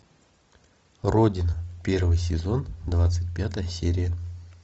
родина первый сезон двадцать пятая серия